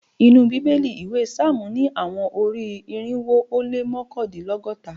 Ninu Bibeli iwe psalmu ni awọn ori-irinwo o le mọkandinlọgọta